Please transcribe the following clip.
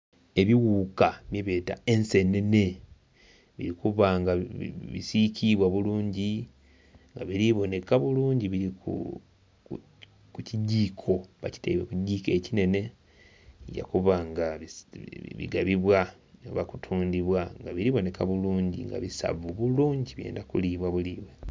Ebiwuuka byebeeta ensenene bili kuba nga bisiikiibwa bulungi, nga biri boneka bulungi biri ku kigiiko. Babitaire ku kigiiko ekinhenhe. Bigya kuba nga bigabibwa oba kutundibwa nga bili bonheka bulungi nga bisavu bulungi byenda kulibwa bulibwe